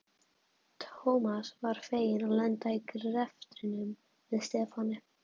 Thomas var feginn að lenda í greftrinum með Stefáni.